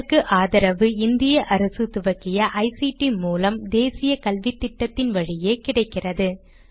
இதற்கு ஆதரவு இந்திய அரசு துவக்கிய ஐசிடி மூலம் தேசிய கல்வித்திட்டத்தின் வழியே கிடைக்கிறது